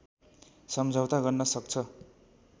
सम्झौता गर्न सक्छ